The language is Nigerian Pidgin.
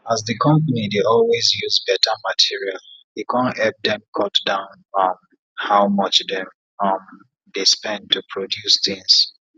as d compani dey always use better material e kon epp dem cut down um how much dem um dey spend to produce things